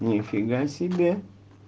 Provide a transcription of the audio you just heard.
нифига себе